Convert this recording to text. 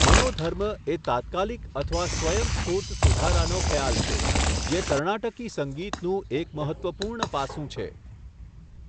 મનોધર્મ એ તાત્કાલિક અથવા સ્વયંસ્ફૂર્ત સુધારાનો ખ્યાલ છે, જે કર્ણાટકી સંગીતનું એક મહત્ત્વપૂર્ણ પાસું છે.